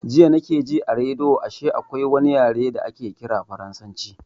Jiya na ke ji a rediyo ashe akwai wani yare da ake ƙira farasanci